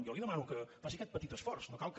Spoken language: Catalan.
jo li demano que faci aquest petit esforç no cal que